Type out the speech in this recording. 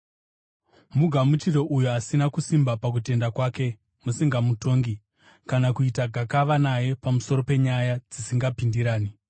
Mugamuchire uyo asina kusimba pakutenda kwake, musingamutongi kana kuita gakava naye pamusoro penyaya dzisingapindirani.